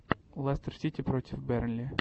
лестер сити против бернли